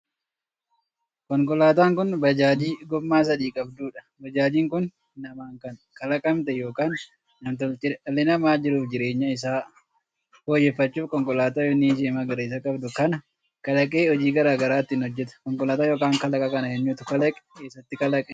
Konkolaataan kun bajaajii gommaa sadii qabduudha. bajaajiin kun namaan kan kalaqamte ykn nam-tolcheedha. dhalli namaa jiruuf jireenya isaa fooyyeffachuuf konkolaataa bifni ishee magariisa qabdu kana kalaqee hojii garaagaraa ittiin hojjetaa. konkolaataan ykn kalaqa kana eenyutu kalaqe? eessatti kalaqame?